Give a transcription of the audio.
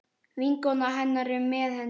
Vinkona hennar er með henni.